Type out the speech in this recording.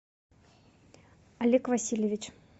олег васильевич